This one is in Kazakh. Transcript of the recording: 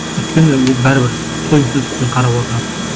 өйткені ол бәрібір тойымсыздықпен қарап отырады